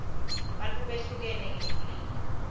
bantfu behlukene ngebulili